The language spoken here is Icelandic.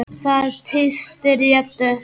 Það tístir í Eddu.